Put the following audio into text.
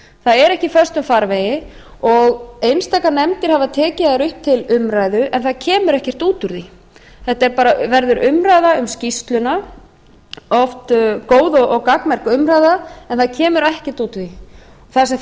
það er ekki í föstum farvegi og einstaka nefndir hafa tekið þær upp til umræðu en það kemur ekkert út úr því þetta verður umræða um skýrsluna oft góð og gagnmerk umræða en það kemur ekkert út úr því það sem